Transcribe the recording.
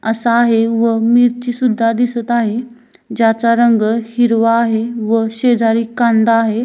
असा आहे व मिरची सुद्धा दिसत आहे ज्याचा रंग हिरवा आहे व शेजारी कांदा आहे.